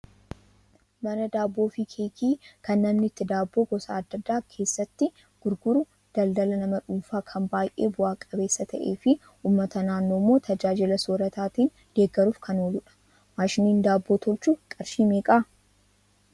Mana daabboo fi keekii kan namni itti daabboo gosa adda addaa keessatti gurguru daldala nama dhuunfaa kan baay'ee bu'a qabeessa ta'ee fi uummata naannoo immoo tajaajila soorataatiin deeggaruuf kan ooludha. Maashiniin daabboo tolchu qarshii meeqaa?